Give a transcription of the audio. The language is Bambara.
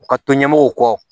U ka to ɲɛmɔgɔw kɔ